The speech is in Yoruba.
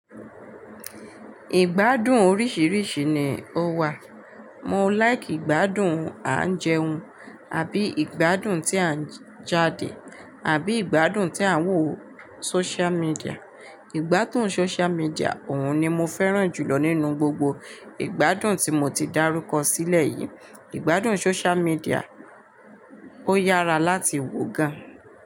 Ìgbádùn oríṣìíríṣìí ni ó wà. Mo like ìgbádùn à ń jẹun, àbí ìgbádùn tí à ń jáde, àbí ìgbádùn tí à ń wò social media. Ìgbádùn social media òun ni mo fẹ́ràn jùlọ nínú gbogbo ìgbádùn tí mo ti dárúkọ sílẹ̀ yìí. Ìgbádùn social media ó yára láti wò gan.